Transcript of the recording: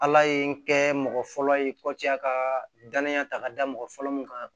Ala ye kɛ mɔgɔ fɔlɔ ye a ka danaya ta ka da mɔgɔ fɔlɔ min kan